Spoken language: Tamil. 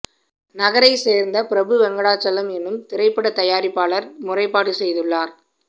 நகரைச் சேர்ந்த பிரபு வெங்கடாசலம் எனும் திரைப்படத் தயாரிப்பாளர் முறைப்பாடு செய்துள்ளார்